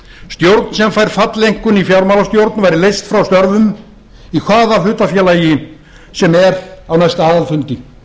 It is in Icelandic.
stjórn sem fær falleinkunn í fjármálastjórn væri leyst frá störfum í hvaða hlutafélagi sem er á aðalfundi